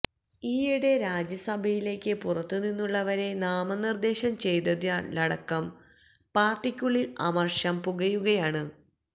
ഈയിടെ രാജ്യസഭയിലേക്ക് പുറത്ത് നിന്നുള്ളവരെ നാമനിര്ദേശം ചെയ്തതിലടക്കം പാര്ട്ടിക്കുള്ളില് അമര്ഷം പുകയുകയാണ്